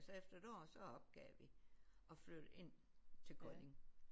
Så efter et år så opgav vi og flyttede ind til Kolding